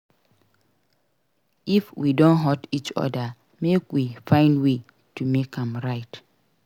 If we don hurt each other make we find way to make am right.